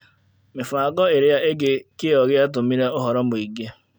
Mĩbango ĩrĩa ĩngĩ kĩo gĩatũmire ũhoro mũingĩ .